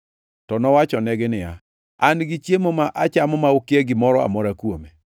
To nowachonegi niya, “An gi chiemo ma achamo ma ukia gimoro amora kuome.”